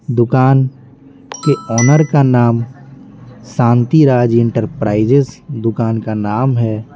दुकान के ओनर का नाम शांतिराज एंटरप्राइजेज दुकान का नाम है।